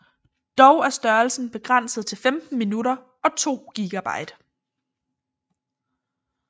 Dog er størrelsen begrænset til 15 minutter og 2 GB